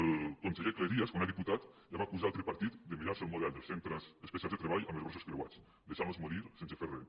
el conseller cleries quan era diputat ja va acusar el tripartit de mirar·se el model dels centres especials de treball amb els braços creuats deixant·los morir sen·se fer res